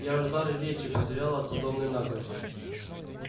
я аж дар речи потерял от подобной наглости